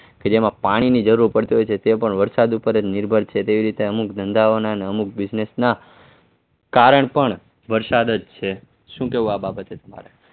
કે જેમાં પાણીની જરૂર પડતી હોય છે તે પણ વરસાદ ઉપર જ નિર્ભર છે તેવી રીતે અમુક ધંધાઓના અને અમુક business ના કારણ પણ વરસાદ જ છે શું કેવું આ બાબતે તમારે?